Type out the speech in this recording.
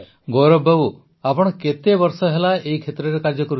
ଗୌରବ ବାବୁ ଆପଣ କେତେ ବର୍ଷ ହେଲା ଏହି କ୍ଷେତ୍ରରେ କାର୍ଯ୍ୟ କରୁଛନ୍ତି